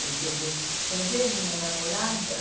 Ele pegou assim, quer ver a minha namorada?